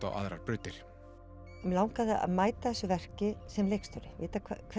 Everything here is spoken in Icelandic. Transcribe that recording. á aðrar brautir mig langaði að mæta þessu verki sem leikstjóri við